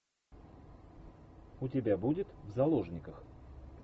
у тебя будет в заложниках